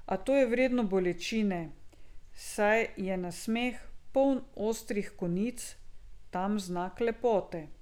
A to je vredno bolečine, saj je nasmeh, poln ostrih konic, tam znak lepote.